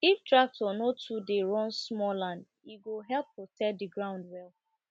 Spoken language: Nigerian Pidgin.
if tractor no too dey run small land e go help protect the ground well